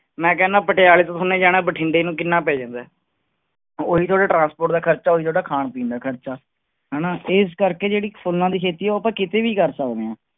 ਮੈਂ ਕਹਿਨਾ ਪਟਿਆਲੇ ਤੋਂ ਤੁਹਾਨੇ ਜਾਣਾ ਬਠਿੰਡੇ ਨੂੰ ਕਿੰਨਾ ਪੈ ਜਾਂਦਾ ਹੈ, ਉਹੀ ਤੁਹਾਡੇ transport ਦਾ ਖ਼ਰਚਾ ਉਹੀ ਤੁਹਾਡਾ ਖਾਣ ਪੀਣ ਦਾ ਖ਼ਰਚਾ, ਹਨਾ ਇਸ ਕਰਕੇ ਜਿਹੜੀ ਫੁੱਲਾਂ ਦੀ ਖੇਤੀ ਆ, ਉਹ ਆਪਾਂ ਕਿਤੇ ਵੀ ਕਰ ਸਕਦੇ ਹਾਂ।